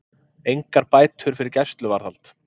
Engar bætur fyrir gæsluvarðhald